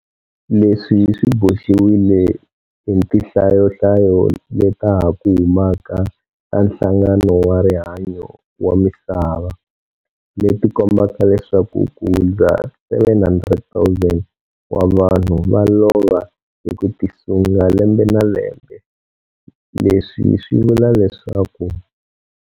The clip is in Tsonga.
Leswi swi boxiwile hi tinhlayonhlayo leta ha ku humaka ta Nhlangano wa Rihanyo wa Misava, leti kombaka leswaku kuhundza 700 000 wa vanhu va lova hi ku tisunga lembe na lembe - leswi swi vula leswaku.